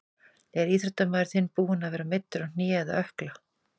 Er íþróttamaður þinn búinn að vera meiddur á hné eða ökkla?